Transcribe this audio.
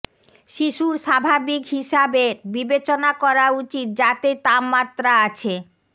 শিশুর স্বাভাবিক হিসাবে বিবেচনা করা উচিত যাতে তাপমাত্রা আছে